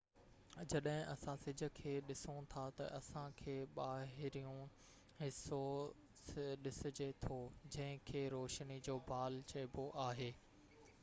جڏهن اسان سج کي ڏسون ٿا تہ اسان کي ٻاهريون حصو ڏسجي ٿو جنهن کي روشني جو بال چئبو آهي